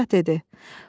Padşah dedi: